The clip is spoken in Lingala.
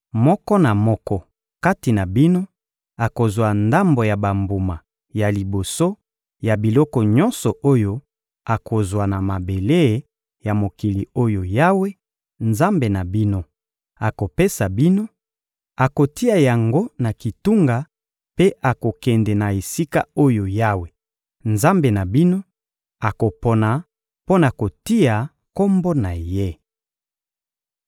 moko na moko kati na bino akozwa ndambo ya bambuma ya liboso ya biloko nyonso oyo akozwa na mabele ya mokili oyo Yawe, Nzambe na bino, akopesa bino; akotia yango na kitunga mpe akokende na esika oyo Yawe, Nzambe na bino, akopona mpo na kotia Kombo na Ye.